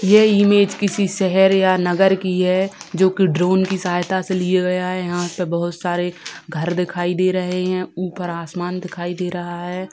ये इमेज किसी शहर या नगर की है जोकि ड्रोन की सहायता से लिया गया है यहाँ पे बहुत सारे घर दिखाई दे रहें हैं ऊपर आसमान दिखाई दे रहा है।